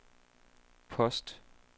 post